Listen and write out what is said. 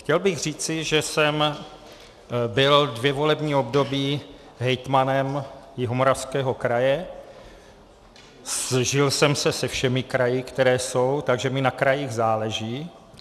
Chtěl bych říci, že jsem byl dvě volební období hejtmanem Jihomoravského kraje, sžil jsem se se všemi kraji, které jsou, takže mi na krajích záleží.